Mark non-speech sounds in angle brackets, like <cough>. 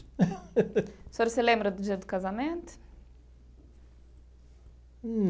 <laughs> O senhor se lembra do dia do casamento?